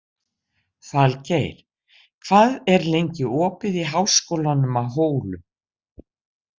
Falgeir, hvað er lengi opið í Háskólanum á Hólum?